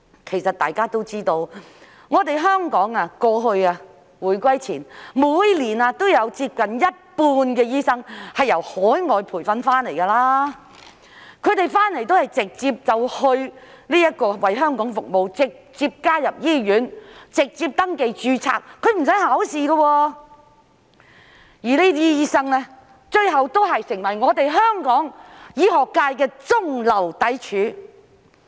其實大家都知道，香港回歸前每年有接近一半醫生是由海外培訓回流，他們回來都是直接為香港服務、直接加入醫院、直接登記註冊，是不需要考試的，而這些醫生最後亦成為香港醫學界的中流砥柱。